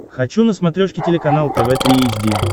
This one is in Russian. хочу на смотрешке телеканал тв три эйч ди